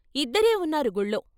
ఇద్దరే ఉన్నారు గుళ్ళో.